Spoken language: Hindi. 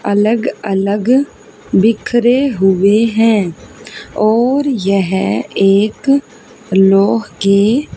अलग-अलग बिखरे हुए हैं और यह एक लौह के --